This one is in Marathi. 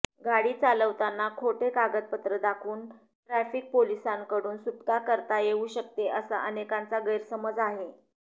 गाडी चालवताना खोटे कागदपत्र दाखवून ट्रॅफीक पोलिसांकडून सुटका करता येऊ शकते असा अनेकांचा गैरसमज आहे